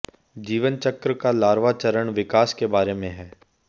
जीवन चक्र का लार्वा चरण विकास के बारे में है